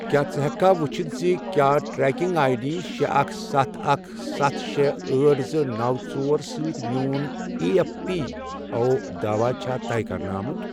کیٛاہ ژٕ ہیٚککھا وٕچھتھ زِ کیٛاہ ٹرٛیکنگ آیۍ ڈی شےٚ اکھ ستھ اکھ ستھ شےٚ ٲٹھ زٕ نو ژور سۭتۍ میٛون ایی ایف پی او داواہ چھا طے کَرنہٕ آمُت؟